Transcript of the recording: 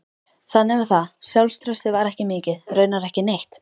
Þannig var það, sjálfstraustið var ekki mikið, raunar ekki neitt.